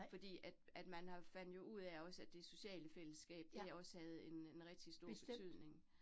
Fordi at at man har fandt jo ud af også, at det sociale fællesskab, det også havde en en rigtig stor betydning